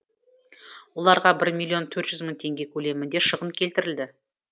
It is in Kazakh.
оларға бір миллион төрт жүз мың теңге көлемінде шығын келтірілді